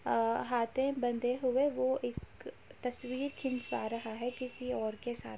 अ हाथे बंधे हुए वो एक तस्वीर खिंचवा रहा हैं किसी और के साथ ।